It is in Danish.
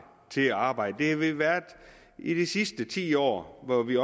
til at arbejde det har vi været i de sidste ti år hvor vi